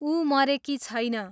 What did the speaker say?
उ मरेकी छैन